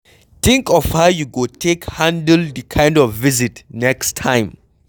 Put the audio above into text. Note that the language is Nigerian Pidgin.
Think of how you go take handle di kind of visit next time